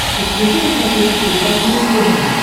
подключи на смотрешке передачу муз тв